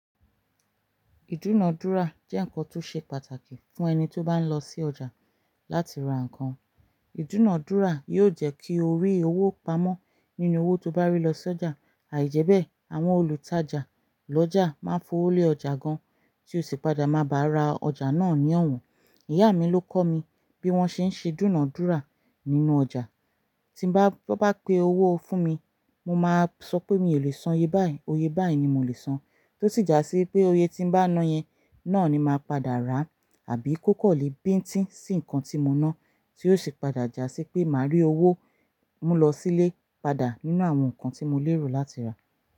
Ìdúnadúrà jẹ́ nkan tó ṣe pàtàkì fún ẹni tó bá ń lọ sí ọjà láti ra nǹkan. Ìdúnadúrà yóò jẹ́ kí o rí owó pamọ́ nínú owó tó bá rí lọ s'ọjà. Àì jẹ́bẹ̀, àwọn olùtajà lọ́jà máa ń fowó lé ọjà gan, tí o sì padà máa bá ra ọjà náà ní ọ̀wọ́n. Ìyá mi ló kọ́ mi bí wọ́n ṣe ń ṣe ìdúnadúrà nínú ọjà. Tí bá wọ́n bá pe owó fún mi, mo máa sọ pé mi ò lè san ye báì, oye báì ni mo lè san. Tó sì jásí pé oye tí ń bá ná yẹn náà ni màá padà ra àbí kó kọ̀lè bíńtìn sí nǹkan tí mo ná, tí ó sì padà jásí pé màá rí owó mú lọ sílé padà nínú àwọn nǹkan tí mo lérò láti rà.